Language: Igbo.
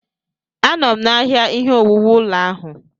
Anọ m n'ahịa ihe owuwu ụlọ ahụ.